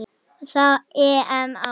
Og það á EM-ári.